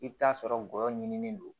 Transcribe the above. I bɛ t'a sɔrɔ ngɔyɔ ɲinilen don